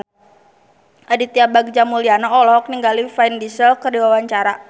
Aditya Bagja Mulyana olohok ningali Vin Diesel keur diwawancara